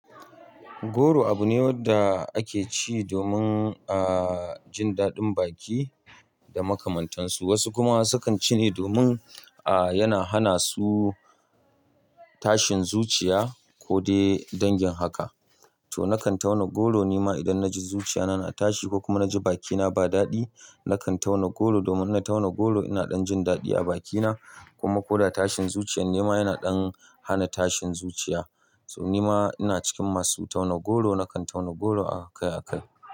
Goro abu ne wanda ake ci domin, ah, jin daɗin baki da makamantansu. Wasu kuma sukan ci ne domin, ah, yana hana su tashin zuciya ko dai dangin haka. To na kan tauna goro ni ma idan na ji zuciya na na tashi ko kuma na ji bakina ba daɗi. Na kan tauna goro domin na tauna goro ina ɗan jin daɗi a bakina kuma ko da tashin zuciyar ni ma yana ɗan hana tashin zuciya. To ni ma ina cikin masu tauna goro. Na kan tauna goro akai akai.